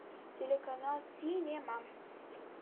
телеканал синема